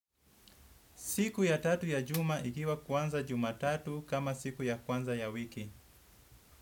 Siku ya tatu ya juma ikiwa kwanza jumatatu kama siku ya kwanza ya wiki.